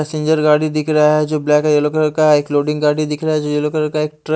passenger गाड़ी दिख रहा है जो ब्लैक येलो कलर का एक लोडिंग गाड़ी दिख रहा है जो येलो कलर का ये ट्र --